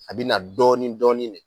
A bi na dɔɔnin dɔɔnin de